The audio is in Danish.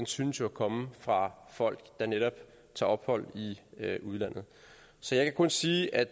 synes jo at komme fra folk der netop tager ophold i udlandet så jeg kan kun sige at